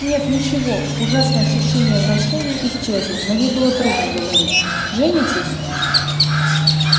нет ничего ужасное ощущение вращения исчезло но ей было трудно говорить женитесь